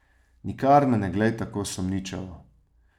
Nikar me ne glej tako sumničavo.